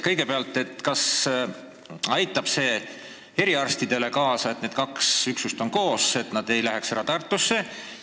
Kõigepealt: kas see, kui kaks üksust on koos, aitab kaasa sellele, et eriarstid ei lähe ära Tartusse?